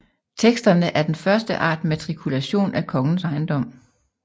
Teksterne er den første art matrikulation af kongens ejendom